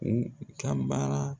U ka baara